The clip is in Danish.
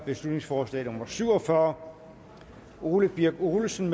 beslutningsforslag nummer b syv og fyrre ole birk olesen